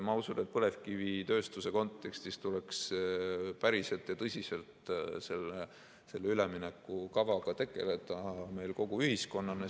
Ma usun, et põlevkivitööstuse kontekstis tuleks päriselt ja tõsiselt selle üleminekukavaga tegeleda meil kogu ühiskonnana.